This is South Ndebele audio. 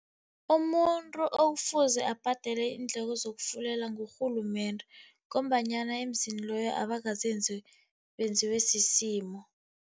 Umuntu okufuze abhadele iindleko zokufulela ngurhulumende ngombanyana emzini loyo abangazenzi, benziwe sisimo.